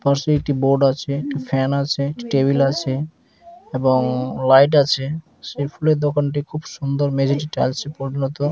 পাশে একটি বোর্ড আছেএকটি ফ্যান আছেটেবিল আছে এবং লাইট আছে সে ফুলের দোকানটি খুব সুন্দর মেঝেতে টাইস ও পরিনত।